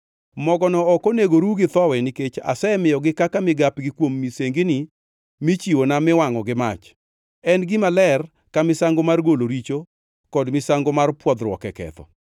Mogono ok onego ru gi thowi; nikech asemiyogigo kaka migapgi kuom misengini michiwona miwangʼo gi mach. En gima ler ka misango mar golo richo kod misango mar pwodhruok e ketho.